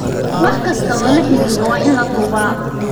Wax kasta oo la xiriira waa in la duubaa.